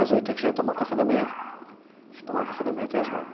Às oito a gente ia tomar o café da manhã, a gente ia tomar o café da manhã até às nove.